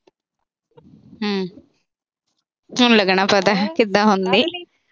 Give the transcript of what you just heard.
ਹੂੰ। ਹੁਣ ਲੱਗਣਾ ਪਤਾ ਕਿਦਾਂ ਹੁੰਦਾ ਈ।